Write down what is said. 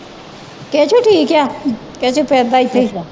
ਕੇਸੂ ਠੀਕ ਆ ਕੇਸੂ ਫਿਰਦਾ ਇੱਥੇ ਈ